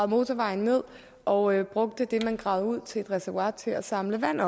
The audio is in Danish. motorvejen ned og brugte det man gravede ud til et reservoir til at samle vand